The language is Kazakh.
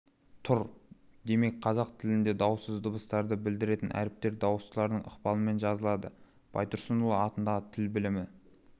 тұр демек қазақ тілінде дауыссыз дыбыстарды білдіретін әріптер дауыстылардың ықпалымен жазылады байтұрсынұлы атындағы тіл білімі